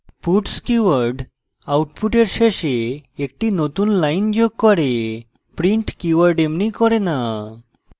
puts keyword output শেষে একটি নতুন লাইন যোগ করে print keyword এমনি করে the